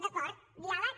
d’acord diàleg